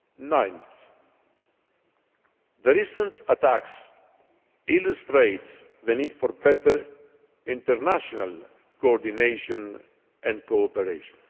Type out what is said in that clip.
Ninthly, the recent attacks illustrate the need for better international coordination and cooperation.